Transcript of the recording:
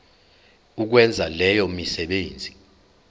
ukwenza leyo misebenzi